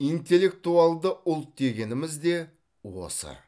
интеллектуалды ұлт дегеніміз де осы